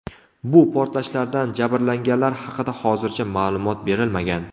Bu portlashlardan jabrlanganlar haqida hozircha ma’lumot berilmagan.